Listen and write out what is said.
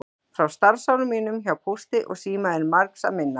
Frá starfsárum mínum hjá Pósti og síma er margs að minnast.